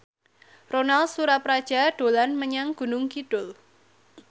Ronal Surapradja dolan menyang Gunung Kidul